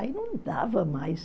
Aí não dava mais.